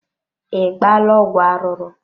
I gbaala ọgwụ arụrụ.